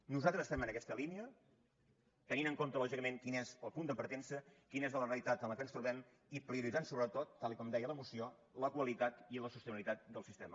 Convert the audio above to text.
nosaltres estem en aquesta línia tenint en compte lògicament quin és el punt de partença quina és la realitat en què ens trobem i prioritzant sobretot tal com deia la moció la qualitat i la sostenibilitat del sistema